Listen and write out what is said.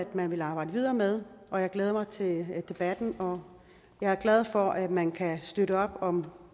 man vil arbejde videre med og jeg glæder mig til debatten jeg er glad for at man støtter op om